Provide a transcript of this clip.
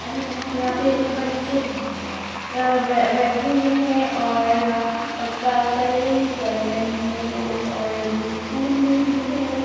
यहाँ पे बच्चे बैठे हुए है और क- कलरिंग कर रहे है वो और वो स्कूल मे ही है।